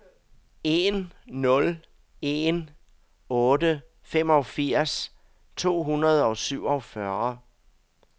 en nul en otte femogfirs to hundrede og syvogfyrre